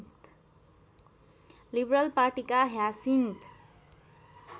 liberal पार्टीका Hyacinth